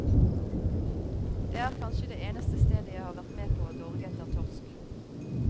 Det er kanskje det eneste stedet jeg har vært med på å dorge etter torsk.